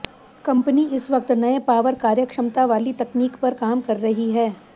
company इस वक़्त नए पावर कार्यक्षमता वाली तकनीक पर काम कर रही है